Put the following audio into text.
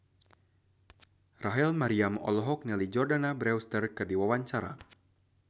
Rachel Maryam olohok ningali Jordana Brewster keur diwawancara